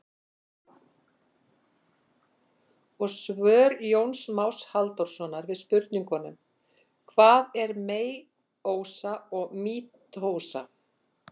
Og svör Jóns Más Halldórssonar við spurningunum: Hvað er meiósa og mítósa?